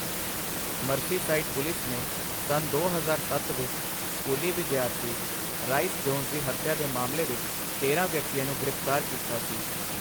Merseyside police ਨੇ ਸੰਨ ਦੋ ਹਜ਼ਾਰ ਸੱਤ ਵਿੱਚ ਸਕੂਲੀ ਵਿਦਿਆਰਥੀ ਰਾਈਸ ਜੋਨਸ ਦੀ ਹੱਤਿਆ ਦੇ ਮਾਮਲੇ ਵਿੱਚ ਤੇਰਾਂ ਵਿਅਕਤੀਆਂ ਨੂੰ ਗ੍ਰਿਫ਼ਤਾਰ ਕੀਤਾ ਸੀ।